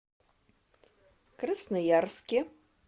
красноярске